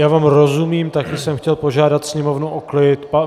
Já vám rozumím, také jsem chtěl požádat sněmovnu o klid.